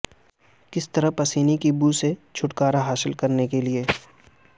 کس طرح پسینے کی بو سے چھٹکارا حاصل کرنے کے لئے